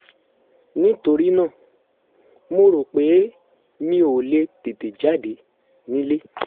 nítorí náà mo rò pé mi ò lè tètè jáde nílé